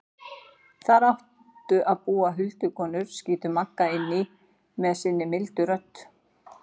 Þar áttu að búa huldukonur, skýtur Magga inn í með sinni mildu rödd.